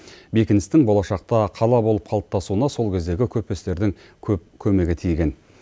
бекіністің болашақта қала болып қалыптасуына сол кездегі көпестердің көп көмегі тиген